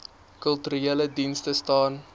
kulturele dienste staan